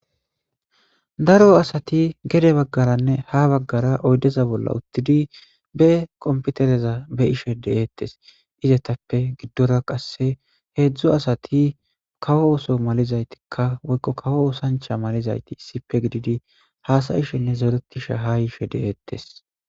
Daro asati gere baggaranne ha baggara oydeza bolla uttidi be qompitereza be ishe deeettes izetappe giddora qasse heedzdzu asati kawo oso malizaytikka woykko kawo osancha malizayti issipe gididi haasayishenne zeeretishe ha ishe de7eettes